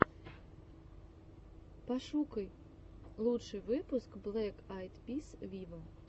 пошукай лучший выпуск блэк айд пис виво